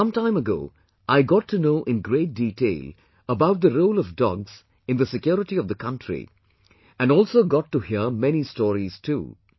Some time ago I got to know in great detail about the role of dogs in the security of the country and also got to hear many stories too